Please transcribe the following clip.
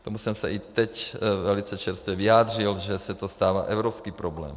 K tomu jsem se i teď velice čerstvě vyjádřil, že se to stává evropským problémem.